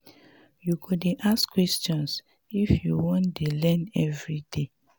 you go dey ask questions if you want dey learn everyday.